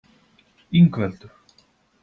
Ingveldur